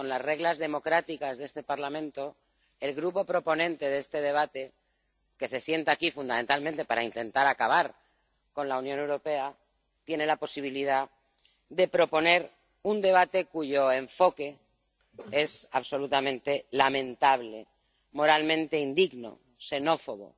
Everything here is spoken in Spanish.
Con las reglas democráticas de este Parlamento, el Grupo proponente de este debate, que se sienta aquí fundamentalmente para intentar acabar con la Unión Europea, tiene la posibilidad de proponer un debate cuyo enfoque es absolutamente lamentable, moralmente indigno, xenófobo,